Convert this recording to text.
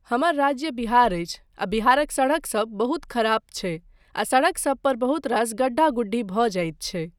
हमर राज्य बिहार अछि आ बिहारक सड़कसभ बहुत खराब छै आ सड़क पर बहुत रास गड्ढ़ा गुढ़ी भऽ जाइत छै।